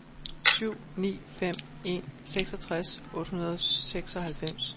syv ni fem en seksogtres otte hundrede og seksoghalvfems